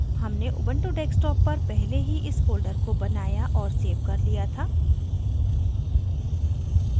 हमने ubuntu desktop पर पहले ही इस folder को बनाया और सेव कर लिया था